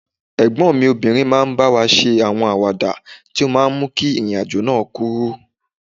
Ẹ̀gbọ́n mi obìnrin máa ń bá wa ṣe àwọn àwàdà tó máa ń mú kí ìrìn àjò náà kúrú